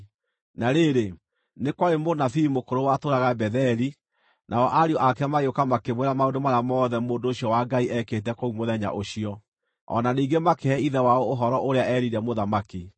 Na rĩrĩ, nĩ kwarĩ mũnabii mũkũrũ watũũraga Betheli, nao ariũ ake magĩũka makĩmwĩra maũndũ marĩa mothe mũndũ ũcio wa Ngai eekĩte kũu mũthenya ũcio. O na ningĩ makĩhe ithe wao ũhoro ũrĩa eerire mũthamaki.